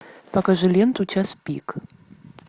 покажи ленту час пик